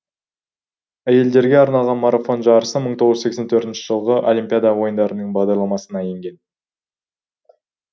әйелдерге арналған марафон жарысы мың тоғыз жүз сексен төртінші жылғы олимпиада ойындарының бағдарламасына енген